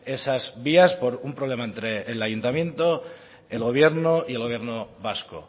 esas vías por un problema entre el ayuntamiento el gobierno y el gobierno vasco